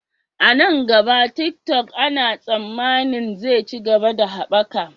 A nan gaba, TikTok ana tsammanin zai ci gaba da haɓaka.